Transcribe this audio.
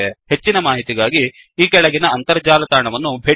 ಹೆಚ್ಚಿನ ಮಾಹಿತಿಗಾಗಿ ಈ ಕೆಳಗಿನ ಅಂತರ್ಜಾಲ ತಾಣವನ್ನು ಭೇಟಿಕೊಡಿ